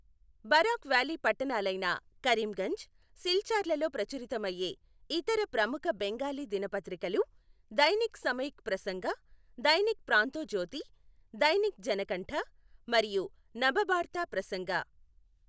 Barack valley పట్టణాలైన కరీంగంజ్, సిల్చార్లలో ప్రచురితమయ్యే ఇతర ప్రముఖ బెంగాలీ దినపత్రికలు దైనిక్ సమయిక్ ప్రసంగ, దైనిక్ ప్రాంతోజ్యోతి, దైనిక్ జనకంఠ, మరియు నబబార్త ప్రసంగ.